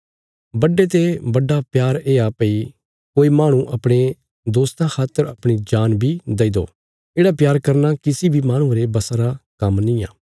बडे ते बडा प्यार येआ भई कोई माहणु अपणे दोस्तां खातर अपणी जान बी दई दो येढ़ा प्यार करना किसी बी माहणुये रे बशा रा काम्म निआं